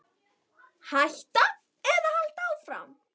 Hætta eða halda áfram?